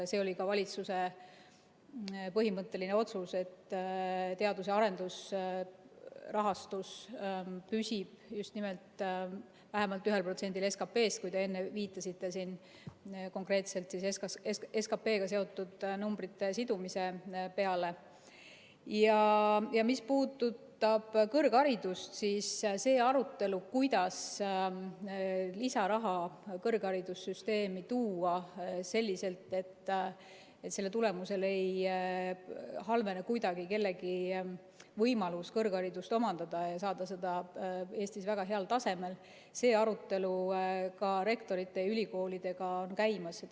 See oli ka valitsuse põhimõtteline otsus, et teadus‑ ja arendusrahastus püsib just nimelt vähemalt 1%‑l SKP‑st . Mis puudutab kõrgharidust, siis arutelu, kuidas lisaraha kõrgharidussüsteemi tuua selliselt, et selle tulemusel ei halvene kuidagi kellegi võimalus kõrgharidust omandada ja saada seda Eestis väga heal tasemel, on ka rektorite ja ülikoolidega käimas.